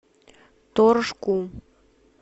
торжку